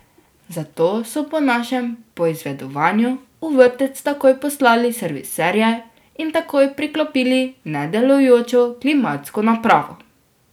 Zato so po našem poizvedovanju v vrtec takoj poslali serviserje in takoj priklopili nedelujočo klimatsko napravo.